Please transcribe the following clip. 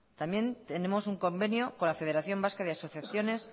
también tenemos un convenio con la federación vasca de asociaciones